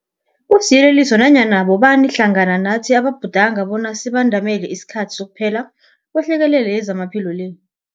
Kusiyeleliso kunanyana bobani hlangana nathi ababhudanga bonyana sibandamele isikhathi sokuphela kwehlekelele yezamaphilo le.